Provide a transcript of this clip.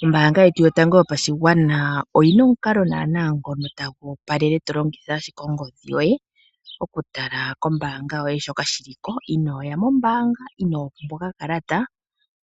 Oombaanga yetu yotango yopashigwana oyina omukalo naana ngono tagu opalele tolingitha ashike ongodhi yoye, oku tala koombanga yoye shoka shili ko intooya mombaanga, inoopumbwa okakalata